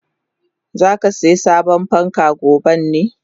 Zakasiya sabon fanka goben ne?